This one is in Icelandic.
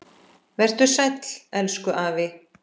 Vertu sæll, elsku afi.